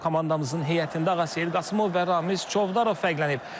Komandamızın heyətində Ağaseyid Qasımov və Ramiz Çovdarov fərqlənib.